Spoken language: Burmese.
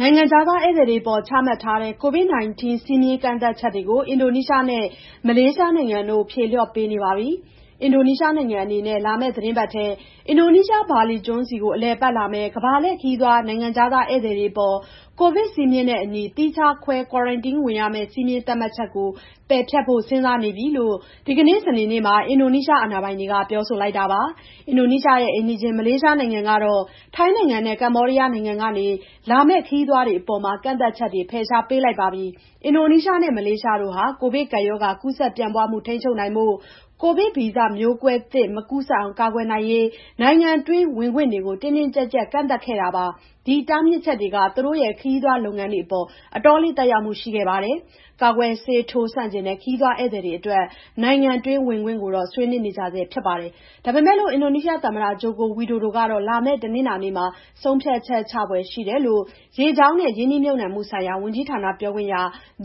နိုင်ငံခြားသား ဧည့်သည်တွေအပေါ် ချမှတ်ထားတဲ့ COVID-19 စည်းမျဉ်းကန့်သတ်ချက်တွေကို အင်ဒိုနီးရှားနဲ့ မလေးရှားနိုင်ငံတို့ ဖြေလျှော့ပေးနေပါပြီ။ အင်ဒိုနီးရှားနိုင်ငံအနေနဲ့ လာမယ့်သီတင်းပတ်ထဲ အင်ဒိုနီးရှား ဘာလီကျွန်းဆီကို အလည်အပတ်လာမယ့် ကမ္ဘာလှည့်ခရီးသွား နိုင်ငံခြားသား ဧည့်သည်တွေအပေါ် ကိုဗစ်စည်းမျဉ်းနဲ့အညီ သီးခြားခွဲ ကွာရမ်တင်းဝင်ရမယ့် စည်းမျဉ်းသတ်မှတ်ချက်ကို ပယ်ဖျက်ဖို့ စဉ်းစားနေပါပြီလို့ ဒီကနေ့ စနေနေ့မှာ အင်ဒိုနီးရှား အာဏာပိုင်တွေက ပြောလိုက်တာပါ။ အင်ဒိုနီးရှားရဲ့ အိမ်နီးချင်း မလေးရှားနိုင်ငံကတော့ ထိုင်းနိုင်ငံနဲ့ ကမ္ဘောဒီးယားနိုင်ငံကနေ လာမယ့် ခရီးသွားတွေအပေါ် ကန့်သတ်ချက်တွေ ဖယ်ရှားပေးလိုက်ပါပြီ။ အင်ဒိုနီးရှားနဲ့ မလေးရှားတို့ဟာ ကိုဗစ်ကပ်ရောဂါ ကူးစက်ပြန့်ပွားမှု ထိန်းချုပ်နိုင်ဖို့ ကိုဗစ်ဗီဇမျိုးကွဲသစ် မကူးစက်အောင် ကာကွယ်နိုင်ရေး နိုင်ငံတွင်းဝင်ခွင့်တွေကို တင်းတင်းကျပ်ကျပ် ကန့်သတ်ခဲ့တာပါ။ ဒီတားမြစ်ချက်တွေက သူတို့ရဲ့ ခရီးသွားလုပ်ငန်းတွေအပေါ် အတော်လေး သက်ရောက်မှုတွေ ရှိခဲ့ပါတယ်။ ကာကွယ်ဆေးထိုးဆန့်ကျင်တဲ့ ခရီးသွားဧည့်သည်တွေအတွက် နိုင်ငံတွင်း ဝင်ခွင့်ကိုတော့ ဆွေးနွေးနေကြဆဲ ဖြစ်ပါတယ်။ ဒါပေမယ့် အင်ဒိုနီးရှားသမ္မတ ဂျိုကိုဝီဒိုဒိုကတော့ လာမယ့် တနင်္လာနေ့မှာ ဆုံးဖြတ်ချက်ချဖွယ်ရှိတယ်လို့ ရေကြောင်းနဲ့ ရင်းနှီးမြှုပ်နှံမှုဆိုင်ရာ ဝန်ကြီးဌာန ပြောခွင့်ရ